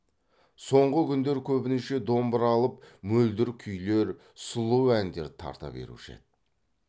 соңғы күндер көбінше домбыра алып мөлдір күйлер сұлу әндер тарта беруші еді